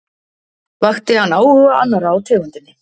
Vakti hann áhuga annarra á tegundinni.